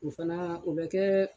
O fana o bɛ kɛ